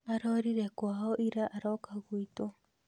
Arorire kwao ira aroka gwitũ